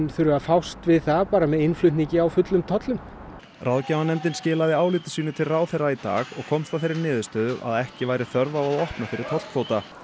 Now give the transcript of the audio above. þurfi að fást við það með innflutningi á fullum tollum ráðgjafanefndin skilaði áliti sínu til ráðherra í dag og komst að þeirri niðurstöðu að ekki væri þörf á að opna fyrir tollkvóta